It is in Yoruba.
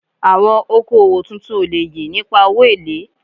Awon oko owo tuntun o le ye nipa owo ele